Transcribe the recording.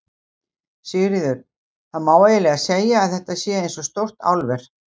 Sigríður: Það má eiginlega segja að þetta sé eins og stórt álver?